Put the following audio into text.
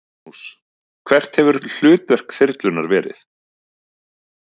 Magnús: Hvert hefur hlutverk þyrlunnar verið?